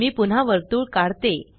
मी पुन्हा वर्तुळ काढते